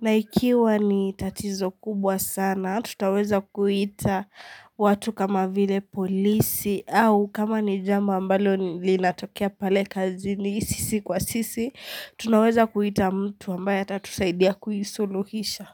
na ikiwa ni tatizo kubwa sana tutaweza kuita watu kama vile polisi au kama ni jambo ambalo linatokea pale kazini sisi kwa sisi Tunaweza kuita mtu ambaye atatusaidia kuisuluhisha.